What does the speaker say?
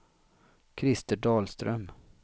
Krister Dahlström